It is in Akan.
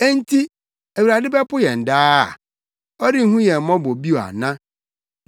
“Enti, Awurade bɛpo yɛn daa? Ɔrenhu yɛn mmɔbɔ bio ana?